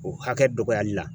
O hakɛ dɔgɔyali la.